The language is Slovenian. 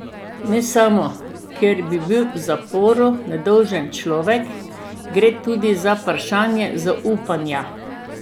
Ne samo, ker bi bil v zaporu nedolžen človek, gre tudi za vprašanje zaupanja.